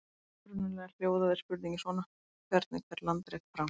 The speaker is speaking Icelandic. Upprunalega hljóðaði spurningin svona: Hvernig fer landrek fram?